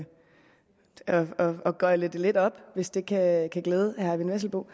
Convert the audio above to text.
gøgle det lidt op hvis det kan kan glæde herre eyvind vesselbo